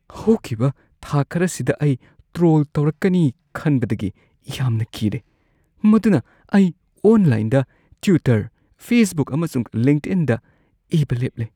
ꯍꯧꯈꯤꯕ ꯊꯥ ꯈꯔꯁꯤꯗ ꯑꯩ ꯇ꯭ꯔꯣꯜ ꯇꯧꯔꯛꯀꯅꯤ ꯈꯟꯕꯗꯒꯤ ꯌꯥꯝꯅ ꯀꯤꯔꯦ ꯃꯗꯨꯅ ꯑꯩ ꯑꯣꯟꯂꯥꯏꯟꯗ ꯇ꯭ꯋꯤꯇꯔ, ꯐꯦꯁꯕꯨꯛ ꯑꯃꯁꯨꯡ ꯂꯤꯡꯛꯏꯟꯗ ꯏꯕ ꯂꯦꯞꯂꯦ ꯫ (ꯃꯤꯑꯣꯏ ꯱)